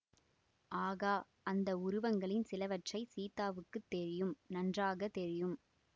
ஆகா அந்த உருவங்களின் சிலவற்றைச் சீதாவுக்கு தெரியும் நன்றாக தெரியும்